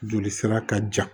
Joli sira ka ca